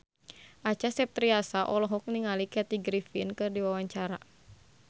Acha Septriasa olohok ningali Kathy Griffin keur diwawancara